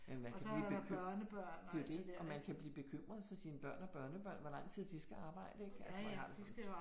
Men man kan blive bekymret. Det er jo det og man kan blive bekymret for sine børn og børnebørn hvor lang tid de skal arbejde ik altså hvor jeg har det sådan